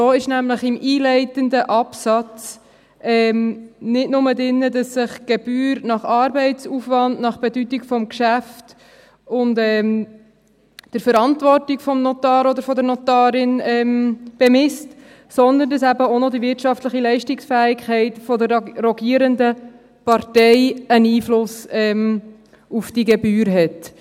So ist nämlich im einleitenden Absatz nicht nur drin, dass sich die Gebühr nach Arbeitsaufwand, nach Bedeutung des Geschäfts und der Verantwortung des Notars oder der Notarin bemisst, sondern dass eben auch noch die wirtschaftliche Leistungsfähigkeit der rogierenden Partei einen Einfluss auf die Gebühr hat.